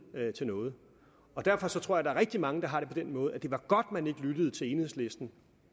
til noget derfor tror jeg at der er rigtig mange der har det på den måde at det var godt at man ikke lyttede til enhedslisten